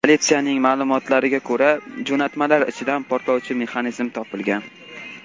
Politsiyaning ma’lumotlariga ko‘ra, jo‘natmalar ichidan portlovchi mexanizm topilgan.